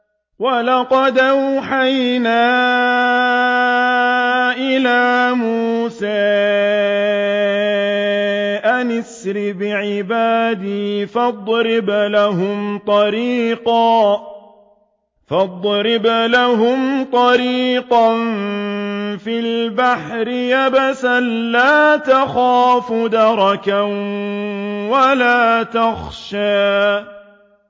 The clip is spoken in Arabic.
وَلَقَدْ أَوْحَيْنَا إِلَىٰ مُوسَىٰ أَنْ أَسْرِ بِعِبَادِي فَاضْرِبْ لَهُمْ طَرِيقًا فِي الْبَحْرِ يَبَسًا لَّا تَخَافُ دَرَكًا وَلَا تَخْشَىٰ